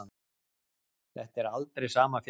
Þetta er aldrei sama fjallið.